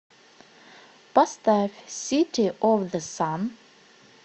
поставь сити оф зэ сан